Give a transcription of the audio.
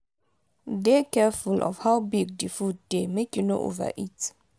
dey careful of how big di food dey make you no overeat